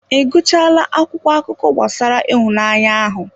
Ị gụchaala akwụkwọ akụkọ gbasara ịhụnanya ahụ?